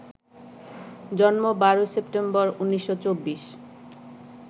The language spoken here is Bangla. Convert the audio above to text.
জন্ম ১২ সেপ্টেম্বর ১৯২৪